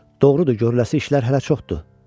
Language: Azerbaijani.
Doğrudur, görüləsi işlər hələ çoxdur.